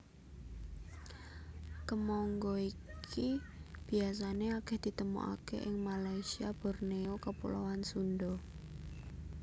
Kemangga iki biasané akèh ditemokaké ing Malasyia Borneo Kepulauan Sunda